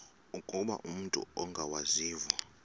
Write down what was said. ukuba umut ongawazivo